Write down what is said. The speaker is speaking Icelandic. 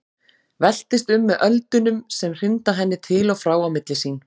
Veltist um með öldunum sem hrinda henni til og frá á milli sín.